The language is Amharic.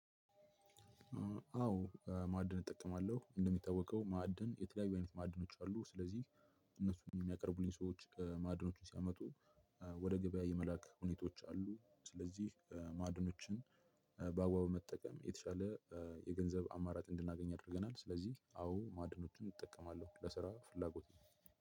አዎ ማዕድን እጠቀማለሁ እንደሚታወቀው ማዕድን የተለያዩ አይነት ማዕድኖች አሉ። ስለዚህ እነሱን የሚያቀርቡልኝ ሰዎች ከማዕድኖቹ ሲያመጡ ወደ ገበያ የመላክ ሁኔታዎች አሉ። ስለዚህ ማዕድኖችን በአግባቡ መጠቀም የተሻለ የገንዘብ አማራጭ እንድናገኝ አድርገናል። ስለዚህ አዎ ማድኖቹን እጠቀማለሁ ለስራ ፍላጎት ነው